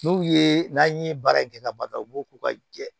N'u ye n'an ye baara kɛ kaba ta u b'u k'u ka jɛ